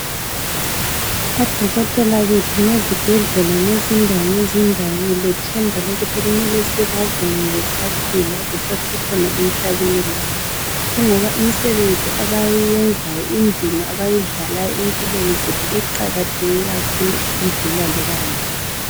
Odokotela bethu ngezibhedlela ngezindawo ngezindawo ngilethemba lokuthi kumele sibabonge besaphila, besasekhona emhlabeni lathi. Kungoba imsebenzi abayenzayo indima abayidlalayo empilweni zethu iqakatheke kakhulu ukudlula loba mbani